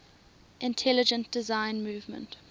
intelligent design movement